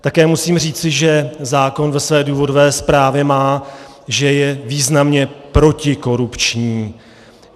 Také musím říci, že zákon ve své důvodové zprávě má, že je významně protikorupční.